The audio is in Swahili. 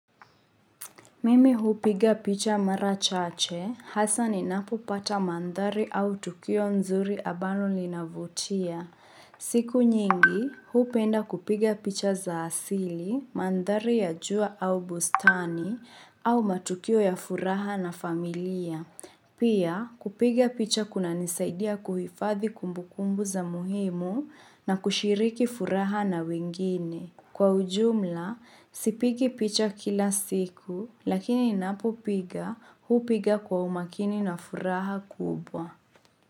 Mimi hupiga picha mara chache, hasaa ninapopata mandhari au tukio nzuri ambalo linavutia. Siku nyingi, hupenda kupiga picha za asili, mandhari ya jua au bustani, au matukio ya furaha na familia. Pia, kupiga picha kunanisaidia kuhifadhi kumbukumbu za muhimu na kushiriki furaha na wengine. Kwa ujumla, sipigi picha kila siku, lakini ninapopiga, hupiga kwa umakini na furaha kubwa.